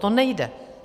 To nejde.